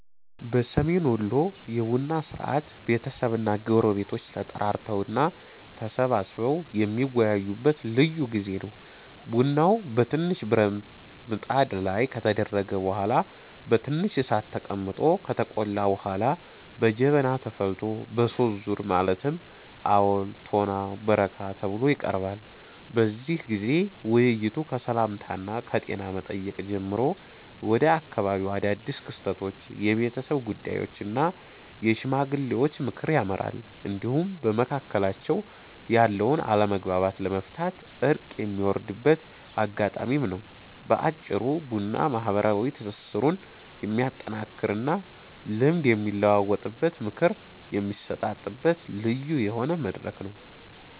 በሰሜን ወሎ የቡና ሥርዓት ቤተሰብና ጎረቤቶች ተጠራርተው እና ተሰባስበው የሚወያዩበት ልዩ ጊዜ ነው። ቡናው በትንሽ ብረት ብጣት ላይ ከተደረገ በኋላ በትንሽ እሳት ላይ ተቀምጦ ከተቆላ በኋላ በጀበና ተፈልቶ በሦስት ዙር ማለትም አወል፣ ቶና እና በረካ ተብሎ ይቀርባል። በዚህ ጊዜ ውይይቱ ከሰላምታና ከጤና መጠየቅ ጀምሮ ወደ አካባቢው አዳድስ ክስተቶች፣ የቤተሰብ ጉዳዮች እና የሽማግሌዎች ምክር ያመራል፤ እንዲሁም በመካከላቸው ያለውን አለመግባባት ለመፍታት እርቅ የሚወርድበት አጋጣሚም ነው። በአጭሩ ቡና ማህበራዊ ትስስሩን የሚያጠናክርና ልምድ የሚለዋወጥበት፣ ምክር የሚሰጣጥበት ልዩ የሆነ መድረክ ነው።